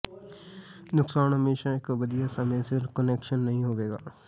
ਨੁਕਸਾਨ ਹਮੇਸ਼ਾ ਇੱਕ ਵਧੀਆ ਸਮੇਂ ਸਿਰ ਕੁਨੈਕਸ਼ਨ ਨਹੀਂ ਹੋਵੇਗਾ